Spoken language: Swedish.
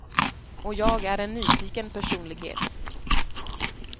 Och jag är en nyfiken personlighet.